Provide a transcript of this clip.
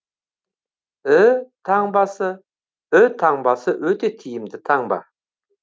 ү таңбасы ү таңбасы өте тиімді таңба